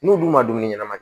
N'u dun ma dumuni ɲɛnama ye